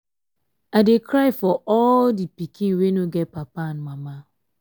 i dey cry for all the pikin wey no get papa and mama.